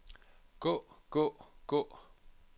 gå gå gå